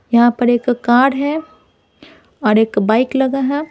यहां पर एक कार है और एक बाइक लगा है।